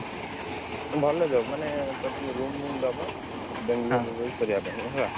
ଭଲ job ମାନେ ତତେ room ଦବ Bangalore ରେ ରହି କରିଆ ପାଇଁ ହେଲା।